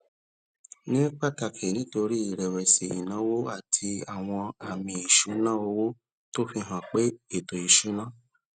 ní pàtàkì nítorí ìrẹwẹsì ìnáwó àti àwọn àmì ìṣúnná owó tó fi hàn pé ètò ìṣúnná